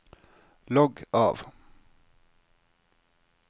logg av